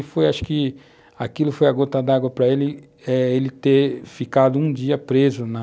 E foi, acho que, aquilo foi a gota d'água para ele ter ficado um dia preso na...